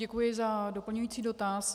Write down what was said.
Děkuji za doplňující dotaz.